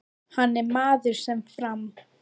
Hann er maður sem fram